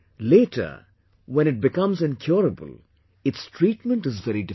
Later when it becomes incurable its treatment is very difficult